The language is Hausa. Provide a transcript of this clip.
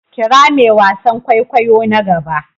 Kira me wasan kwaikwayo na gaba.